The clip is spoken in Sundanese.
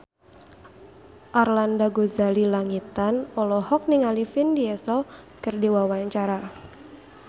Arlanda Ghazali Langitan olohok ningali Vin Diesel keur diwawancara